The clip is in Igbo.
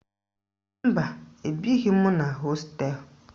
Mba, ebighi m na hosteelụ